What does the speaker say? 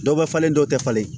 Dɔw bɛ falen dɔw tɛ falen